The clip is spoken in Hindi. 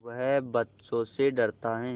वह बच्चों से डरता है